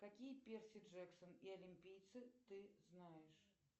какие перси джексон и олимпийцы ты знаешь